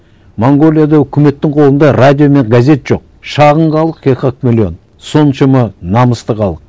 монғолияда үкіметтің қолында радио мен газет жоқ шағын халық екі ақ миллион соншама намысты халық